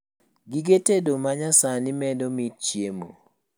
Gige tedo manyasani medo mit chiemo